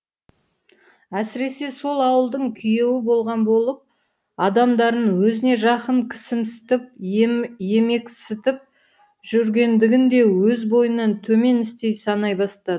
әсіресе сол ауылдың күйеуі болған болып адамдарын өзіне жақын кісімсітіп емексітіп жүргендігін де өз бойынан төмен істей санай бастады